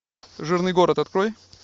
жирный город открой